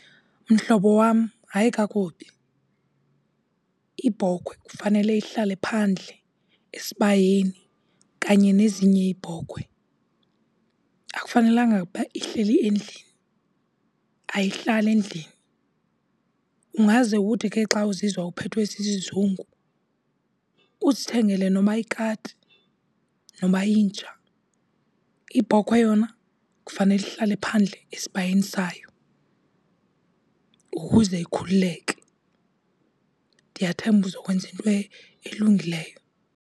Mhlobo wam, hayi kakubi. Ibhokhwe kufanele ihlale phandle esibayeni kanye nezinye iibhokhwe. Akufanelanga ukuba ihleli endlini, ayihlali endlini. Ungaze uthi ke xa uzizwa uphethwe sisizungu uzithengele noba yikati, noba yinja, ibhokhwe yona kufanele ihlale phandle esibayeni sayo ukuze ikhululeke. Ndiyathemba uzokwenza into elungileyo.